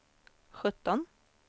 sjutton